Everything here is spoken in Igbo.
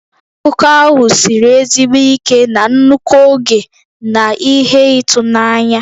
Akụkọ ahụ siri ezigbo ike na nnukwu oge na ihe ịtụnanya.